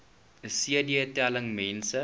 cd telling mense